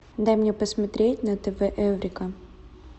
дай мне посмотреть на тв эврика